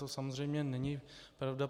To samozřejmě není pravda.